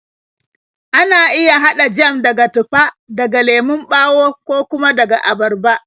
Ana iya haɗa jam daga tufa, daga lemon ɓawo, ko kuma daga abarba.